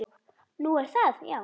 Nú, er það já.